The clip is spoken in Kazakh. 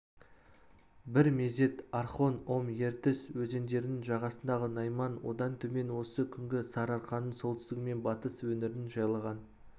бір мезет орхон ом ертіс өзендерінің жағасындағы найман одан төмен осы күнгі сарыарқаның солтүстігі мен батыс өңірін жайлаған